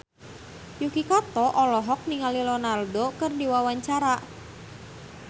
Yuki Kato olohok ningali Ronaldo keur diwawancara